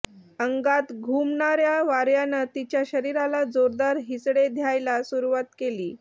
अंगात घुमणार्या वार्यानं तिच्या शरीराला जोरदार हिसडे द्यायला सुरूवात केली